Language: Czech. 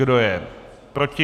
Kdo je proti?